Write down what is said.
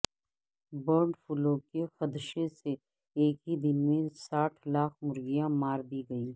bird flu کے خدشے سے ایک ہی دن میں ساٹھ لاکھ مرغیاں مار دی گئیں